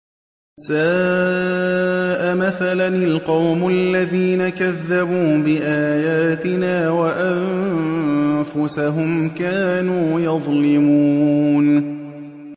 سَاءَ مَثَلًا الْقَوْمُ الَّذِينَ كَذَّبُوا بِآيَاتِنَا وَأَنفُسَهُمْ كَانُوا يَظْلِمُونَ